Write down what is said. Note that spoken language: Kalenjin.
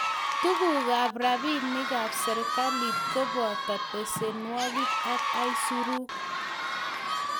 Tugukab robinikab serikalit ko boto besenwek ak isuruk.